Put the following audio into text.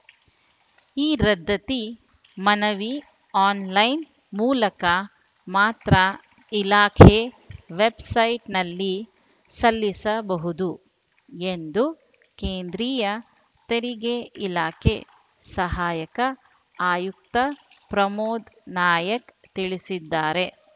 ಈ ರದ್ಧತಿ ಮನವಿ ಆನ್‌ಲೈನ್‌ ಮೂಲಕ ಮಾತ್ರ ಇಲಾಖೆ ವೆಬ್‌ಸೈಟ್‌ನಲ್ಲಿ ಸಲ್ಲಿಸಬಹುದು ಎಂದು ಕೇಂದ್ರೀಯ ತೆರಿಗೆ ಇಲಾಖೆ ಸಹಾಯಕ ಆಯುಕ್ತ ಪ್ರಮೋದ ನಾಯಕ ತಿಳಿಸಿದ್ದಾರೆ